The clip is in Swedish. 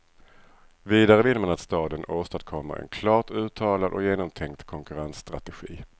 Vidare vill man att staden åstadkommer en klart uttalad och genomtänkt konkurrensstrategi.